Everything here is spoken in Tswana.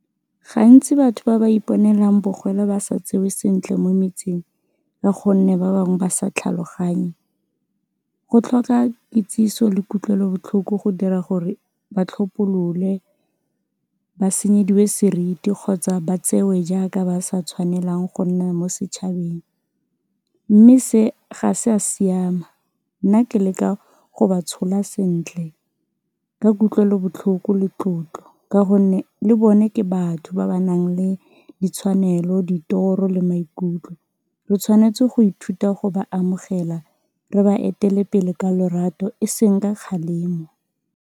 Gantsi batho ba ba iponelang bogole ba sa tsewe sentle mo metsing ka gonne ba bangwe ba sa tlhaloganye, go tlhoka kitsiso le kutlwelobotlhoko go dira gore ba tlhophololwe, ba senyediwe seriti kgotsa ba tsewe jaaka ba sa tshwanelang go nna mo setšhabeng mme se ga sa siama, nna ke leka go ba tshola sentle ka kutlwelobotlhoko le tlotlo ka gonne le bone ke batho ba ba nang le ditshwanelo, ditoro le maikutlo re tshwanetse go ithuta go ba amogela, re ba etele pele ka lorato e seng ka kgalemo.